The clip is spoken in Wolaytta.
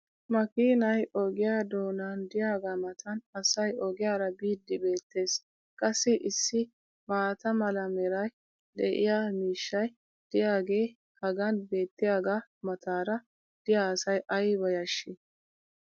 makkiinay ogiyaa doonan diyaagaa matan asay ogiyaara biidi beetees. qassi issi maata mala meray de'iyo miishshay diyaagee hagan beetiyaagaa mataara diya asay ayba yashii!